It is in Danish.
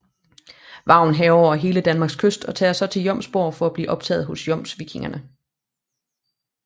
Vagn hærger over den hele danske kyst og tager så til Jomsborg for at blive optaget hos jomsvikingerne